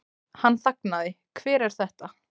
Hann þagnaði, Hver er þetta?